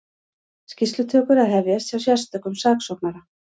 Skýrslutökur að hefjast hjá sérstökum saksóknara